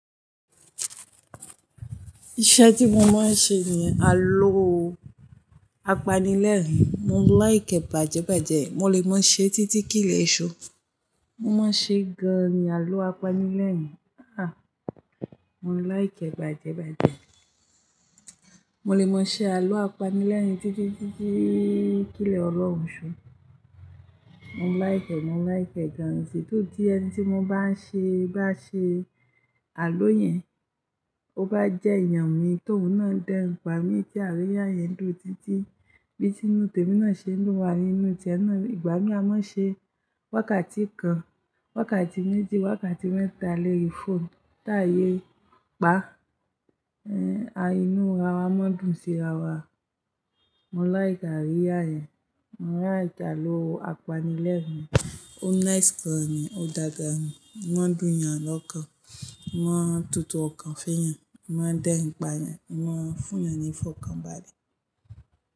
Iṣẹ́ tí mo máa ń ṣe ni àlọ́ apanilẹ́rìn-ín. Mo ń like ẹ̀ bàjẹ́bàjẹ́. Mo lè maṣé títí kilẹ̀ èṣú. Mo máa ń ṣe gan-an ni àlọ́ apanilẹ́rìn-ín. A! Mo ń like ẹ́ bàjẹ́bàjẹ́. Mo lè máa ṣe àlọ́ apanilẹ́rìn-ín títí, títí, títí kilẹ̀ ọlọ́run òṣù. Mo ń láìkẹ́, mo ń láìkẹ́ gan-an. Tí ó dí ẹní tí mo bá ṣe, bá ṣe àlọ́ yẹn, ó bá jẹ́ eeyàn mi tóun ná dẹ́n, pà mí bí àríyá yẹn dùn títí bí tinu temi ná ṣe ń dùn wa ínú tiẹ́ náà. Ìgbà mí á máa ṣe wákàtí kan, wákàtí méjì, wákàtí mẹ́ta lori phone táyè pa, ẹ́, a inú wa máa dùn sí ara wa. Mo láìki àríyá yẹn. Mo ń rá ìkà àlọ́ apanilẹ́rìn-ín. Ó nice gan-an ni, ó dága ni. Wọ́n dùn yan lọ́kan, wọ́n tutù ọ̀kan fún yan, wọ́n dẹ́n pa yan, wọ́n fún yan ní ìfọ̀kanbalẹ̀